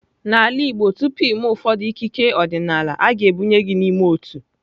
N'ala Igbo tupu i mee ụfọdụ ikike ọdịnala, a ga-ebunye gị n'ime otu.